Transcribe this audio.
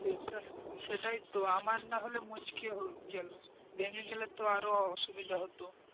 সেটাইতো আমার না হলে মুচকে হলো গেল ভেঙে গেলে তো আর ও অসুবিধা হতো,